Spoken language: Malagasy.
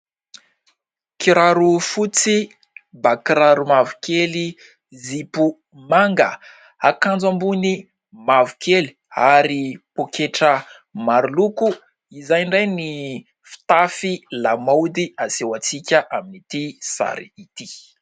kiraro fotsy mbakiraro mavokely zipo manga hakanjo ambony mavokely ary mpoketra maroloko izay indray ny fitafy lamaody aseho antsika amin'ity sary ity